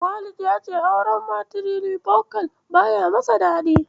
Walid ya ce auren matirifokal baya yi masa daɗi.